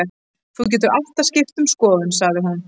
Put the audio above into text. Þú getur alltaf skipt um skoðun, sagði hún.